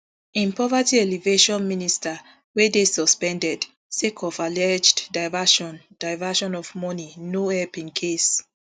im poverty alleviation minister wey dey suspended sake of alleged diversion diversion of money no help im case